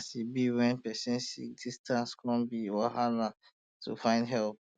as e be um when person sick um distance come be wahala um to find help